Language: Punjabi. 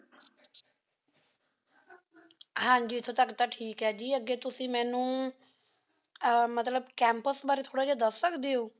ਹਾਂਜੀ ਏਥੋਂ ਤਕ ਤਾਂ ਠੀਕ ਆਯ ਜੀ ਅੱਗੀ ਤੁਸ੍ਸੀ ਮੇਨ੍ਨੁ ਮਤਲਬ ਕੈਮ੍ਪੁਸ ਬਾਰੀ ਥੋਰਾ ਦਸ ਸਕ